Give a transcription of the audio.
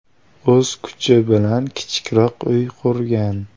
O‘z kuchi bilan kichikroq uy qurgan.